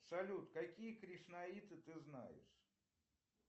салют какие кришнаиты ты знаешь